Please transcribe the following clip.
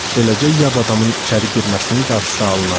Beləcə, yad adamın içəri girməsinin qarşısı alınırdı.